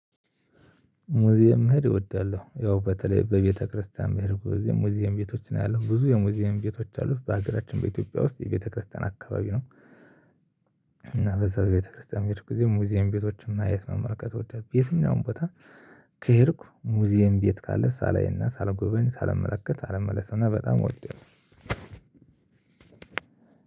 ሙዚየም መሄድ እወዳለሁ። ያው በተለይ በቤተክርስቲያን በሄድኩ ግዜ ሙዚየም ቤቶችን አያለሁ። ብዙ የሙዚየም ቤቶች ያሉት በሀገራችን በኢትዮጵያ ውስጥ የቤተክርስቲያን አካባቢ ነው። እና በዛ በቤተክርስቲያን በሄድኩ ጊዜ ሙዚየም ቤቶችን ማየት መመልከት እወዳለሁ በየትኛውም ቦታ ከሄድኩ ሙዚየም ቤት ካለ ሳላይና፣ ሳልጎበኝ፣ ሳልመለከት አልመለስምና በጣም እወዳለሁ።